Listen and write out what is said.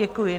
Děkuji.